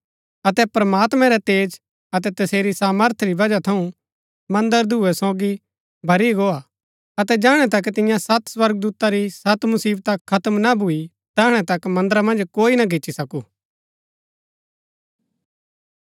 अतै प्रमात्मैं रै तेज अतै तसेरी सामर्थ री वजह थऊँ मन्दर धूयें सोगी भरी गोआ अतै जैहणै तक तियां सत स्वर्गदूता री सत मुसिवता खत्म ना भूई तैहणै तक मन्दरा मन्ज कोई ना गिच्ची सकू